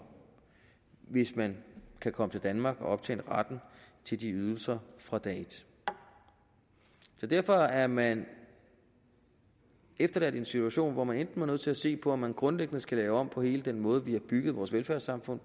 hvis man kan komme til danmark og optjene retten til de ydelser fra dag et så derfor er man efterladt i en situation hvor man enten er nødt til at se på om man grundlæggende skal lave om på hele den måde vi har bygget vores velfærdssamfund